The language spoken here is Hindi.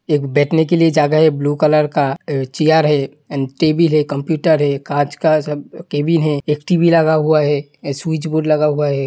एक बैठने के लिए जगह है ब्लू कलर का चेयर है एण्ड टेबल है कंप्यूटर है काँच का सब केबिन है। एक टीवी लगा हुआ है एक स्विच बोर्ड लगा हुआ है।